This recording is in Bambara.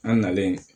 An nalen